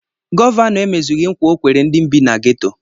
Gọvanọ emezughị nkwa ọ kwere ndị bi na geto.